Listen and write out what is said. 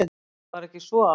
Var ekki svo?